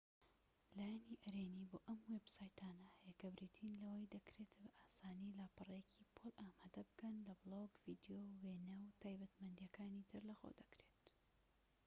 لایەنی ئەرێنی بۆ ئەم وێب سایتانە هەیە کە بریتین لەوەی دەکرێتبە ئاسانی لاپەڕەیەکی پۆل ئامادە بکەن کە بلۆگ ڤیدیۆ وێنە و تایبەتمەندی ەکانی تر لەخۆ دەگرێت